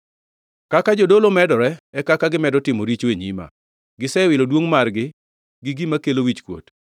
Kaka jodolo medore, e kaka gimedo timo richo e nyima; gisewilo duongʼ margi gi gima kelo wichkuot.